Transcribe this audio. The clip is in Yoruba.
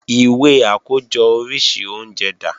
Ìwé àkójọ oríṣi oúnjẹ dà?